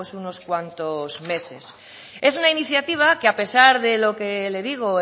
pues unos cuantos meses es una iniciativa que a pesar de lo que le digo